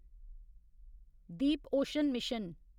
Deep ocean mission